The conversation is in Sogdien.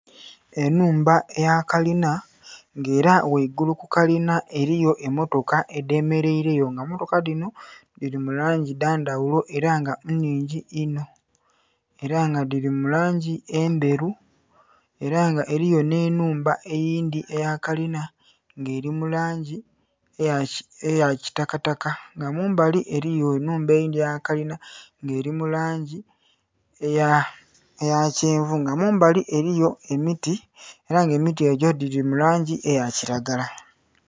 Enhumba eyakalina nga era ghaigulu kukalina eriyo emmotoka edhemeraireyo nga mmotoka dhino dhiri mulangi dhandhaghulo era nga nnhingi inho era nga dhiri mulangi endheru era nga eriyo nhenhumba eyindhi eyakalina nga erimulangi eyakitakataka nga mumbali eriyo nhumba eidhi eyakalina nga erimulangi eyakyenvu nga mumbali eriyo emiti era nga emiti egyo girimulagi eyakiragala.